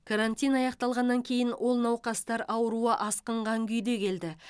карантин аяқталғаннан кейін ол науқастар ауруы асқынған күйде келді